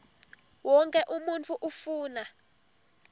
wonkhe umuntfu ufuna